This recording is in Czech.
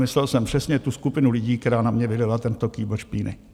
Myslel jsem přesně tu skupinu lidí, která na mě vylila tento kýbl špíny.